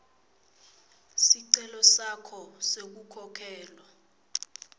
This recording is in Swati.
sicelo sakho sekukhokhelwa